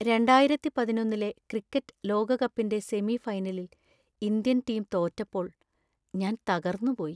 രണ്ടായിരത്തി പതിനൊന്നിലെ ക്രിക്കറ്റ് ലോകകപ്പിന്‍റെ സെമി ഫൈനലിൽ ഇന്ത്യൻ ടീം തോറ്റപ്പോൾ ഞാൻ തകർന്നുപോയി.